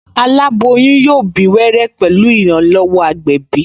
Aláboyún yóò bí wẹ́rẹ́ pẹ̀lú ìrànlọ́wọ́ agbẹ̀bí